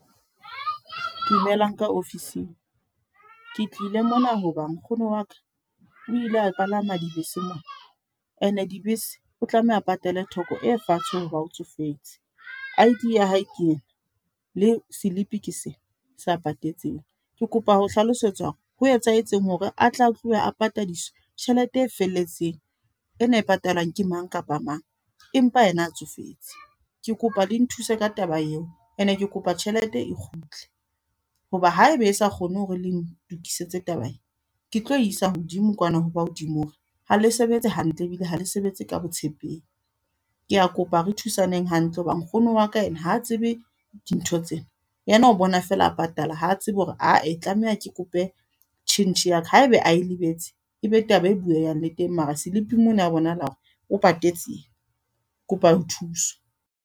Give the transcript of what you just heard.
Dumelang ka office-ing. Ke tlile mona hoba nkgono wa ka. O ile a palama dibese mon. E ne dibese, o tlameha patale theko e fatshe hoba o tsofetse. I_D ya hae ke ena, le slip-i ke sena, sa patetseng. Ke kopa ho hlalosetswa hore, ho etsahetseng hore a tla tloha a patadiswa tjhelete e felletseng. E na e patalang ke mang kapa mang, empa ena a tsofetse. Ke kopa le nthuse ka taba eo. E ne ke kopa tjhelete e kgutle. Hoba haeba e sa kgone hore le ntokisetse taba e, ke tlo isa hodimo kwana ho ba hodimo. Hore ha le sebetse hantle ebile ha le sebetse ka botshepehi. Ke a kopa re thusaneng hantle hoba, nkgono wa ka e ne ha tsebe dintho tsena. Yena o bona fela a patala, ha tsebe hore ae tlameha ke kope tjhentjhe ya ka. Haebe a e lebetse, ebe taba e bueyang le teng. Mara slip-ing mona ho bonahala hore o patetse ena, kopa ho thuswa.